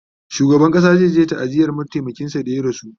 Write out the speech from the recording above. shugaban ƙasa zayaje ta'aziyar mataimakin sa da ya rasu